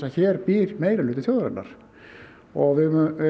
hér býr meirihluti þjóðarinnar við